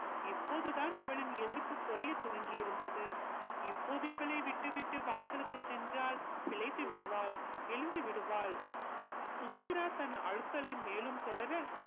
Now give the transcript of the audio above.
இப்போது தான் அவளின் எதிர்ப்பு குறைய துவங்கி இருந்தது இப்போது இவளை விட்டு விட்டு வாசலுக்கு சென்றால் பிழைத்து விடுவாள் எழுந்து விடுவாள் சுதந்திரா தன் அழுத்தலை மேலும் தொடர